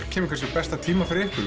kemur kannski á besta tíma fyrir ykkur